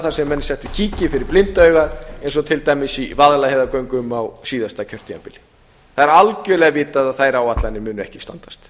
það sem menn settu kíki fyrir blinda augað eins og til dæmis í vaðlaheiðargöngum á síðasta kjörtímabili það er algjörlega vitað að þær áætlanir munu ekki standast